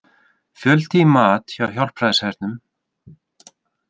Fjöldi í mat hjá Hjálpræðishernum